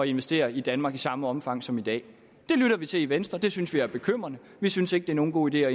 investere i danmark i samme omfang som i dag det lytter vi til i venstre det synes vi er bekymrende vi synes ikke det er nogen god idé at